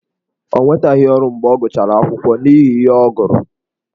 Ọ nwetaghị ọrụ mgbe ọ gụchara akwụkwọ n’ihi ihe ọ gụrụ.